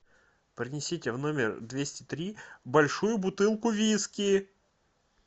принесите в номер двести три большую бутылку виски